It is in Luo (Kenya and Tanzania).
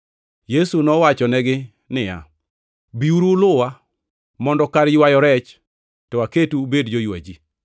Yesu nowachonegi niya, “Biuru uluwa, mondo kar ywayo rech to aketu ubed joywa ji.”